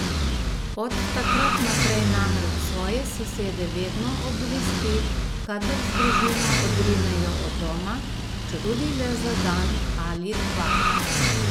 Od takrat naprej namreč svoje sosede vedno obvesti, kadar z družino odrinejo od doma, četudi le za dan ali dva.